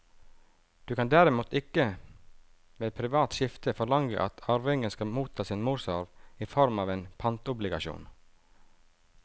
Du kan derimot ikke ved privat skifte forlange at arvingene skal motta sin morsarv i form av en pantobligasjon.